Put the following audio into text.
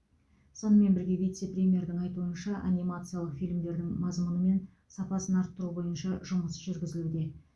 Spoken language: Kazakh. сонымен бірге вице премьердің айтуынша анимациялық фильмдердің мазмұны мен сапасын арттыру бойынша жұмыс жүргізілуде